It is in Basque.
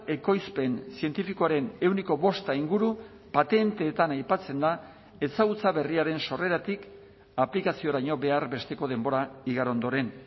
ekoizpen zientifikoaren ehuneko bosta inguru patentetan aipatzen da ezagutza berriaren sorreratik aplikazioraino behar besteko denbora igaro ondoren